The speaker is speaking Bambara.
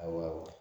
Awa